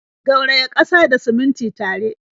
Gauraya ƙasa da simintin tare.